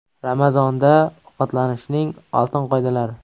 Ramazonda ovqatlanishning oltin qoidalari.